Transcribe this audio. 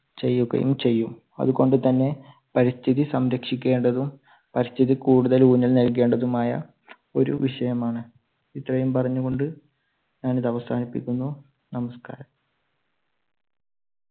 ചെയ്യുകയും ചെയ്യും. അതുകൊണ്ട് തന്നെ പരിസ്ഥിതി സംരക്ഷിക്കേണ്ടതും പരിസ്ഥിതി കൂടുതൽ ഊന്നൽ നൽകേണ്ടതുമായ ഒരു വിഷയമാണ്. ഇത്രയും പറഞ്ഞുകൊണ്ട് ഞാൻ ഇത് അവസാനിപ്പിക്കുന്നു. നമസ്‍കാരം.